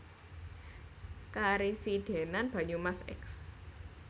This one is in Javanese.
Karesidenan Banyumas Eks